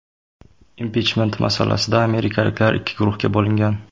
Impichment masalasida amerikaliklar ikki guruhga bo‘lingan.